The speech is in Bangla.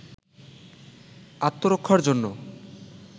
আত্মরক্ষার জন্য